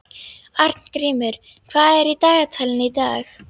Arngrímur, hvað er í dagatalinu í dag?